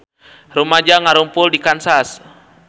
Rumaja ngarumpul di Kansas